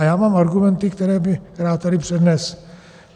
A já mám argumenty, které bych rád tady přednesl.